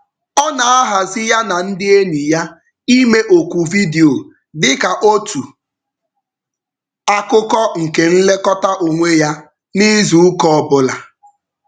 Ọ na-ahazi ya na ndị enyi ya ime oku vidiyo dị ka otu akụkụ nke nlekọta onwe ya n'izuụka ọbụla.